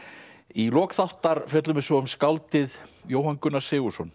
í lok þáttar fjöllum við svo um um skáldið Jóhann Gunnar Sigurðsson